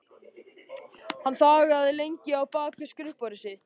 Hann þagði lengi á bak við skrifborðið sitt.